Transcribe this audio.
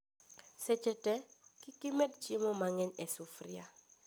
Seche tee, kikimed chiemo mang'eny e sufria